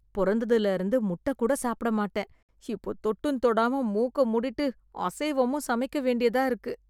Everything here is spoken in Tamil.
பொறந்ததிலேர்ந்து முட்டை கூட சாப்பிட மாட்டேன், இப்போ தொட்டும் தொடாம மூக்க மூடிட்டு அசைவமும் சமைக்க வேண்டியதா இருக்கு.